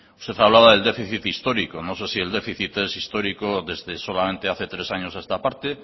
usted habla del déficit histórico no sé si el déficit es histórico desde solamente hace tres años a esta parte